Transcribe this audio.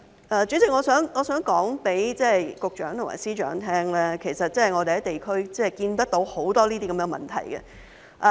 代理主席，我想告訴局長和司長，其實我們在地區看見很多這些問題。